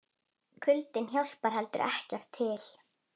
Kuldinn hjálpar heldur ekki til.